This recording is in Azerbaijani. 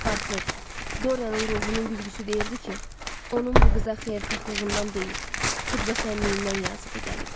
Portret, Dorianın ruhunun güzgüsü deyirdi ki, onun bu qıza xeyirxahlığından deyil, xudbəsənliyindən yazığı gəlib.